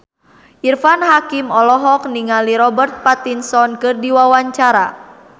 Irfan Hakim olohok ningali Robert Pattinson keur diwawancara